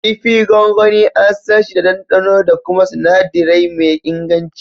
Kifi gwangwani, an sanshi da ɗanɗano da kuma sinadirai me inganci.